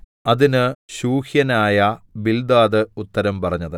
അതിന് ശൂഹ്യനായ ബിൽദാദ് ഉത്തരം പറഞ്ഞത്